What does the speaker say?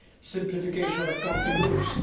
simplification of accounting rules